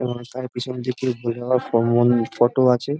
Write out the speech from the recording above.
রাস্তার পিছনে দিকে বের হওয়ার ফটো আছে।